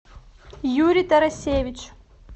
юрий тарасевич